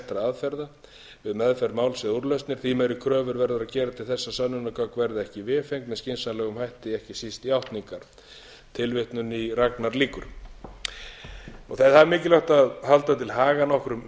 aðferða við meðferð máls eða úrlausn því meiri kröfur verður að gera til þess að sönnunargögn verði ekki vefengd með skynsamlegum hætti ekki síst játningar það er mikilvægt að halda til haga nokkrum